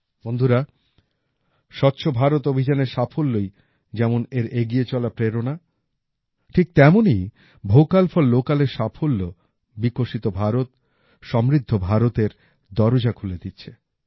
বন্ধুরা স্বচ্ছ ভারত অভিযানের সাফল্যই যেমন এর এগিয়ে চলার প্রেরণা ঠিক তেমনই ভোকাল ফর লোকালএর সাফল্য বিকশিত ভারত সমৃদ্ধ ভারতের দরজা খুলে দিচ্ছে